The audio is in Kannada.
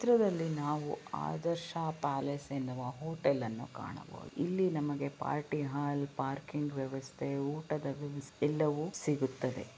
ಚಿತ್ರದಲ್ಲಿ ನಾವು ಆದರ್ಶ ಪ್ಯಾಲೇಸ್ ಎನ್ನುವ ಹೋಟಲ್ ಅನ್ನು ಕಾಣಬಹುದು ಇಲ್ಲಿ ನಮಗೆ ಪಾರ್ಟಿ ಹಾಲ್ ಪಾರ್ಕಿಂಗ್ ವ್ಯವಸ್ಥೆ ಊಟದ ವ್ಯವಸ್ಥೆ ಎಲ್ಲವೂ ಸಿಗುತ್ತವೆ.